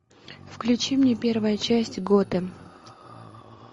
включи мне первая часть готэм